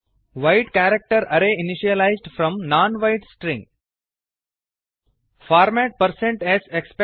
wide character array initialized from non wide string wide character array initialized from non wide string